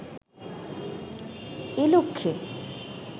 এ লক্ষ্যে